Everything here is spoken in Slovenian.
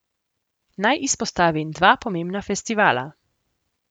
Naj izpostavim dva pomembna festivala.